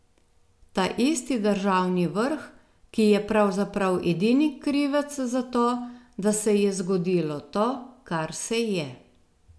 Taisti državni vrh, ki je pravzaprav edini krivec za to, da se je zgodilo to, kar se je.